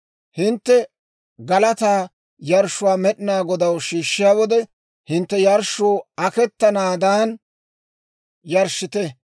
«Hintte galataa yarshshuwaa Med'inaa Godaw shiishshiyaa wode, hintte yarshshuu aketanaadan yarshshite.